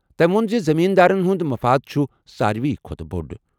تٔمۍ ووٚن زِ زٔمیٖن دارن ہُنٛد مفاد چھُ ساروی کھوتہٕ بوٚڑ۔